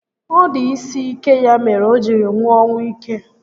Ọ dị isi ike ya mere o jiri nwụọ ọnwụ íke